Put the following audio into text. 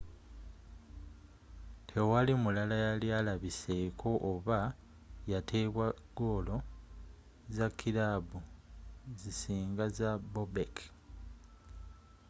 tewali mulala yali alabiseeko oba yateeba goolo za kilaabu zisinga za bobek